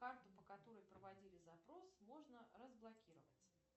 карту по которой проводили запрос можно разблокировать